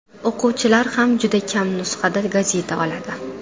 O‘quvchilar ham juda kam nusxada gazeta oladi.